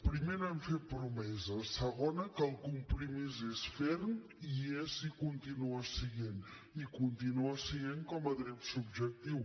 primer no hem fet promeses segona que el compromís és ferm i és i continua essent hi i continua essent hi com a dret subjectiu